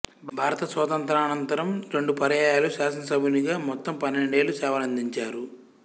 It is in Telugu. భారత స్వాతంత్ర్యానంతరం రెండు పర్యాయాలు శాసనసభ్యునిగా మొత్తం పన్నెండేళ్ళు సేవలందించారు